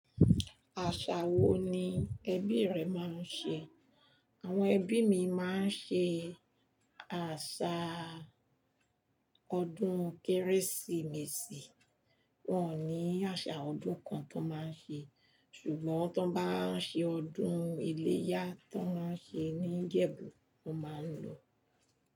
Àṣà wo ni ẹbí rẹ máa ń ṣe? Àwọn ẹbí mi máa ń ṣe àṣà ọdún Kérésìmesì. Wọn ò ní àṣà ọdún kan tó máa ń ṣe. Ṣùgbọ́n tí wọ́n bá ń ṣe ọdún iléyá tó máa ń ṣe ní Ǹjẹbu, wọ́n máa ń ló.